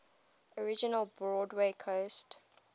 original broadway cast